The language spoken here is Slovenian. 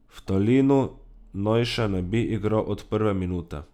V Talinu naj še ne bi igral od prve minute.